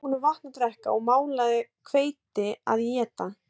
Ég gaf honum vatn að drekka og malað hveiti að éta